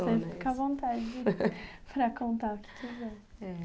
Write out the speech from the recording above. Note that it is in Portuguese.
Você fica à vontade para contar o que quiser. É.